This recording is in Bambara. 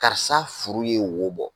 Karisa furu ye wo bɔ